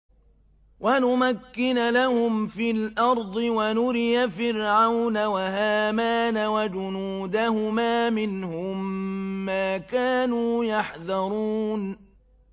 وَنُمَكِّنَ لَهُمْ فِي الْأَرْضِ وَنُرِيَ فِرْعَوْنَ وَهَامَانَ وَجُنُودَهُمَا مِنْهُم مَّا كَانُوا يَحْذَرُونَ